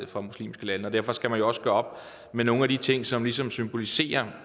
fra muslimske lande derfor skal man jo også gøre op med nogle af de ting som ligesom symboliserer